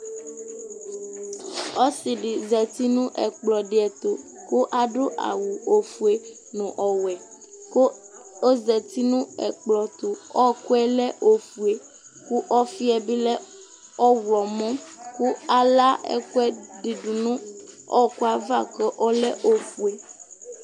Ɔsidi zati nu ɛkplɔdi tu ku adu awu ofue nu ɔwɛ ku ɔzati nu ɛkplɔdi tu ɛkuyɛ lɛ ofue ku ɔfiɛ bilɛ ɔɣlomɔ ku ala ɛkuɛdi du nu ɔku ava ku ɔlɛ ofue